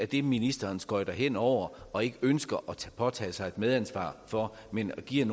det ministeren skøjter hen over og ikke ønsker at påtage sig et medansvar for han giver